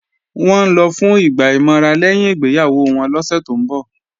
Wọ́n ń lọ fún ìgbà ìmọra lẹ́yìn ìgbéyàwó wọn lọ́sẹ̀ tó ń bọ̀